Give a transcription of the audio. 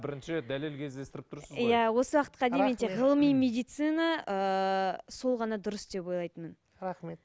бірінші рет дәлел кездестіріп тұрсыз ғой иә осы уақытқа дейін мен тек ғылыми медицина ыыы сол ғана дұрыс деп ойлайтынмын рахмет